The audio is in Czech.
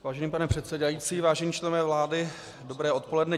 Vážený pane předsedající, vážení členové vlády, dobré odpoledne.